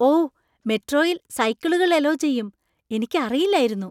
ഓ! മെട്രോയിൽ സൈക്കിളുകൾ അലൗ ചെയ്യും. എനിക്ക് അറിയില്ലായിരുന്നു .